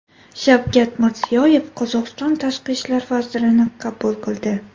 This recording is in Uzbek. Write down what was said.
Shavkat Mirziyoyev Qozog‘iston tashqi ishlar vazirini qabul qildi.